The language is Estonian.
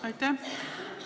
Aitäh!